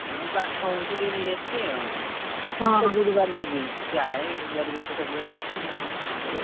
ଆମର ପାଖ ହଉଛି ଟିକେ ନେଇ ଆସିଲି ଆଉ ଗୁରୁବାର ଯିବି, ପ୍ରାୟେ ପରିବାତ ସବୁବେଳେ ଆସୁଛି ଆଉ କଣ କରିବା?